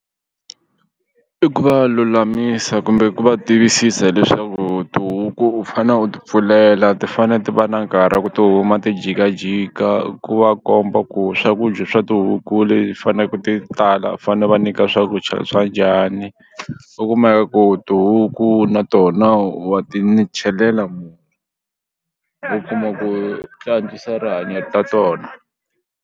I ku va lulamisa kumbe ku va tivisisa hileswaku tihuku u fane u tipfulela ti fane ti va na nkarhi ku ti huma ti jikajika ku va komba ku swakudya swa tihuku faneke ti tala fane va nyika swakudya swa njhani u ku tihuku na tona wa ti chelela u kuma ku ti antswisa rihanyo ta tona.